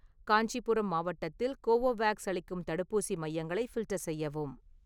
காஞ்சிபுரம் மாவட்டத்தில் கோவோவேக்ஸ் அளிக்கும் தடுப்பூசி மையங்களை ஃபில்டர் செய்யவும்.